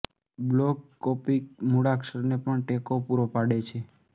block Coptic મૂળાક્ષરને પણ ટેકો પૂરો પાડે છે